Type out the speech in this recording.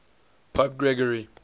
pope gregory